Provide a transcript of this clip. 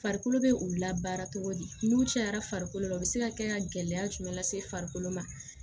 Farikolo bɛ u labaara cogo di n'u cayara farikolo la o bɛ se ka kɛ ka gɛlɛya jumɛn lase farikolo ma